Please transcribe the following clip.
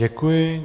Děkuji.